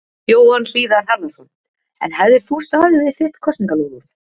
Jóhann Hlíðar Harðarson: En hefðir þú staðið við þitt kosningaloforð?